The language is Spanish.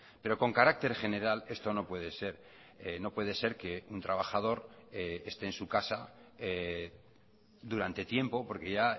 pero con carácter general esto no puede ser no puede ser que un trabajador esté en su casa durante tiempo porque ya